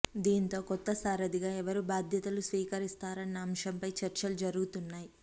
దీంతో కొత్త సారథిగా ఎవరు బాధ్యతలు స్వీకరిస్తాన్న అంశంపై చర్చలు జరుగుతున్నాయి